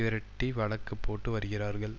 விரட்டி வழக்கு போட்டு வருகிறார்கள்